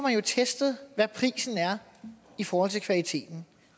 testet hvad prisen er i forhold til kvaliteten